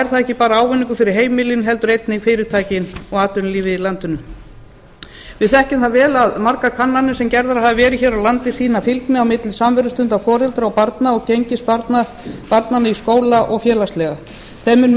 er það ekki bara ávinningur fyrir heimilin heldur einnig fyrirtækin og atvinnulífið í landinu við þekkjum það vel að margar kannanir sem gerðar hafa verið hér á landi sýna fylgni á milli samverustunda foreldra og barna og gengis barnanna í skóla og félagslega þeim